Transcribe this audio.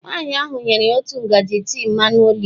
Nwaanyị ahụ nyere ya otu ngaji tii mmanụ oliv.